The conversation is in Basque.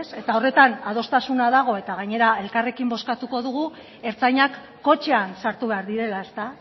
eta horretan adostasuna dago eta gainera elkarrekin bozkatuko dugu ertzainak kotxean sartu behar direla ezta